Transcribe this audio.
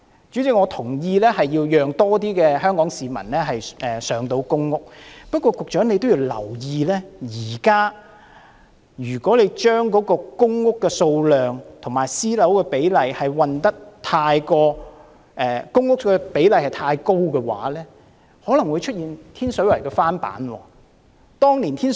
主席，我同意要讓更多香港市民能入住公共租住房屋，不過，局長也要留意，現時如果將公屋對比私人房屋的比例調得太高，可能便會出現天水圍的翻版。